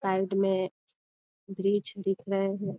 Side में वृक्ष दिख रहे है।